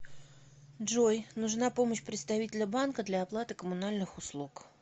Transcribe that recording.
джой нужна помощь представителя банка для оплаты коммунальных услуг